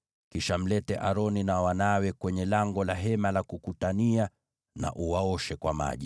Kisha mlete Aroni na wanawe kwenye lango la Hema la Kukutania na uwaoshe kwa maji.